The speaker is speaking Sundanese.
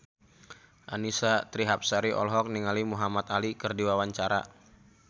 Annisa Trihapsari olohok ningali Muhamad Ali keur diwawancara